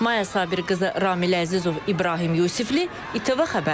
Maya Sabirqızı, Ramil Əzizov, İbrahim Yusifli, ATV Xəbər.